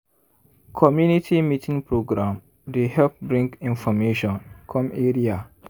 community meeting program dey help bring information come area.